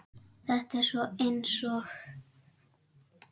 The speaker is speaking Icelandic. Þetta er svona eins og.